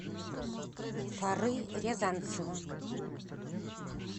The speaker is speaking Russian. фары рязанцева